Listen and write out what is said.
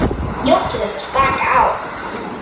NJÓTTU ÞESS AÐ SLAKA Á